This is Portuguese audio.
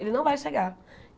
Ele não vai chegar.